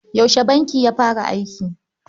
Yaushe bankin ya fara aiki?